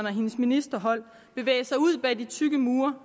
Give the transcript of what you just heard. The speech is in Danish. og hendes ministerhold bevæge sig ud bag de tykke mure